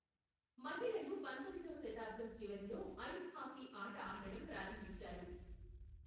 మహిళలు పంతొమ్మిదవ శతాబ్దం చివరిలో ఐస్ హాకీ ఆట ఆడటం ప్రారంభించారు.